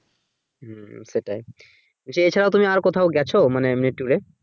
হু সেটাই আচ্ছা এছাড়া তুমি আর কোথাও গেছো মানে এমনি ট্যুরে